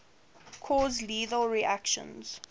cause lethal reactions